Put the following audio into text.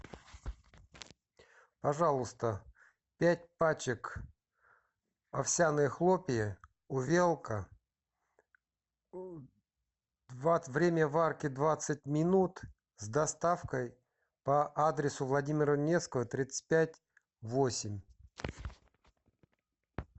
пожалуйста пять пачек овсяные хлопья увелка время варки двадцать минут с доставкой по адресу владимира невского тридцать пять восемь